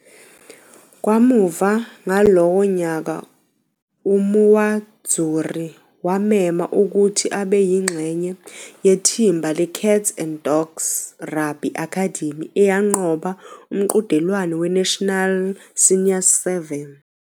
Kamuva ngalowo nyaka uMuwadzuri wamema ukuthi abe yingxenye yeThimba le-Cats and Dogs Rugby Academy eyanqoba umqhudelwano weNational Seniors 7.